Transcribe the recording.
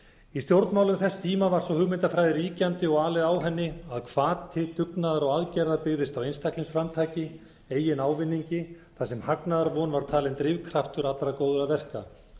í stjórnmálum þess tíma var sú hugmyndafræði ríkjandi og alið á henni að hvati dugnaður og aðgerðir byggðust á einstaklingsframtaki eigin ávinningi þar sem hagnaðarvon var talin drifkraftur allra góðra verka